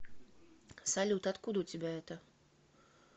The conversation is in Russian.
салют откуда у тебя это